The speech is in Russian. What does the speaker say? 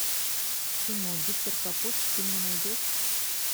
кино гитлер капут ты мне найдешь